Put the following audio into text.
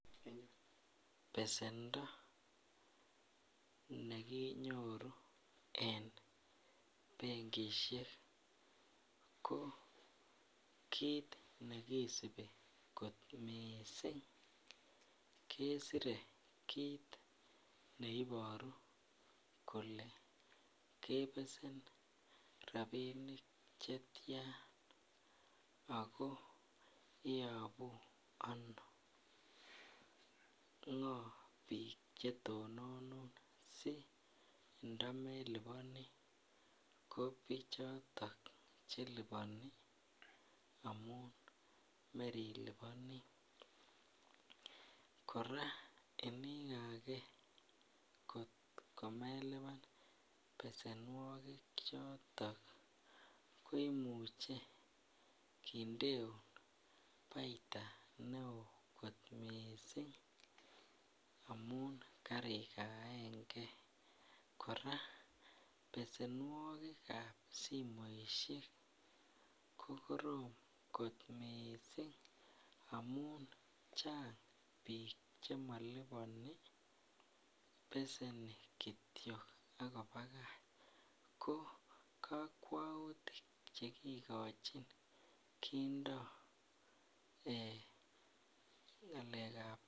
Besendo nekinyoru en benkishek ko kiit nekisibi kot mising kesire kiit neiboru kolee kebesen rabinik chetian ak ko iyobu anoo, ngo biik chetononun ndoyon meliboni ko bichoton cheliboni amun meriliboni, kora inikake komeliban besenwoki choton koimuche kindeun baita neo mising amun karikaenge, kora besenwokikab simoishek ko korom kot mising amun chang biik chemoliboni beseni kitiok ak kobakach, ko kokwoutik chekikochin kindo ngalekab.